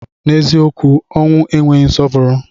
N'eziokwu ọnwụ enweghị nsọpụrụ.